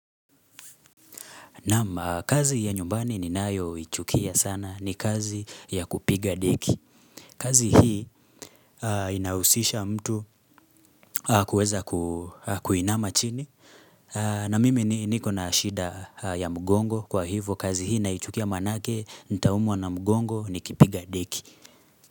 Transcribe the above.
Naam kazi ya nyumbani ni nayoichukia sana ni kazi ya kupiga deki kazi hii inahusisha mtu kuweza kuinama chini na mimi ni niko na ashida ya mgongo kwa hivo kazi hii naichukia maanake nitaumwa na mgongo nikipiga deki.